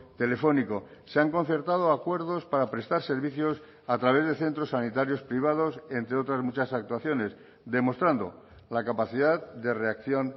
telefónico se han concertado acuerdos para prestar servicios a través de centros sanitarios privados entre otras muchas actuaciones demostrando la capacidad de reacción